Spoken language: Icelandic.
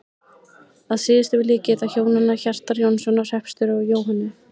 Að síðustu vil ég geta hjónanna Hjartar Jónssonar hreppstjóra og Jóhönnu